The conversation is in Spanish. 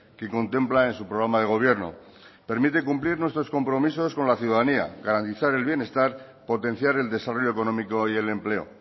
que contempla en su programa de gobierno permite cumplir nuestros compromisos con la ciudadanía garantizar el bienestar potenciar el desarrollo económico y el empleo